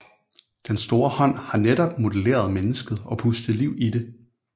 Den store hånd har netop modelleret mennesket og pustet liv i det